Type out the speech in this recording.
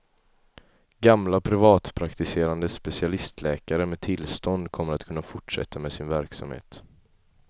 Gamla privatpraktiserande specialistläkare med tillstånd kommer att kunna fortsätta med sin verksamhet.